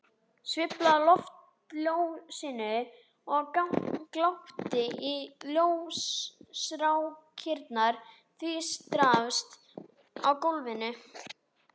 Sveiflaði loftljósinu og glápti á ljósrákirnar tvístrast á gólfinu.